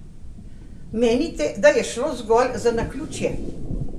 Menite, da je šlo zgolj za naključje?